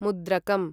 मुद्रकम्